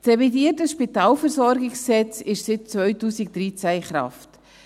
Das revidierte SpVG ist seit 2013 in Kraft.